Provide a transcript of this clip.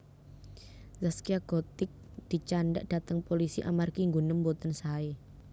Zaskia Gotik dicandhak dateng polisi amargi nggunem mboten sae